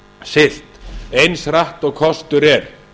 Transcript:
siglt eins hratt og kostur er